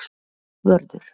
Vörður